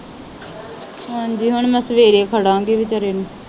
ਹਾਂਜੀ ਹੁਣ ਮੈ ਸਵੇਰੇ ਖੜਾਗੀ ਵਿਚਾਰੇ ਨੂੰ।